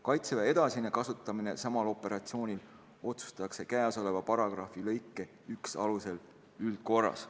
Kaitseväe edasine kasutamine samal operatsioonil otsustatakse käesoleva paragrahvi lõike 1 alusel üldkorras.